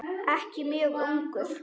Ekki mjög ungur.